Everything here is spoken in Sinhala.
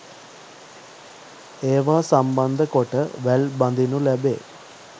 ඒවා සම්බන්ධ කොට වැල් බඳීනු ලැබේ.